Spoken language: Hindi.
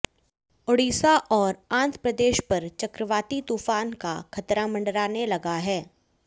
ओडिशा और आंध्र प्रदेश पर चक्रवाती तूफान का खतरा मंडराने लगा है